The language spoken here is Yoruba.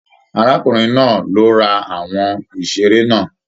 Arákùnrin náà ló rà àwọn iṣere náà.